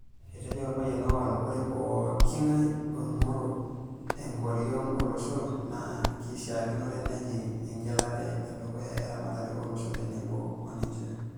Etejo olpayian Owalo oree pookingai oingoru enkoriong olosho naa keshiakinore nejing egelari edukuya eramatare olosho tenebo oninche.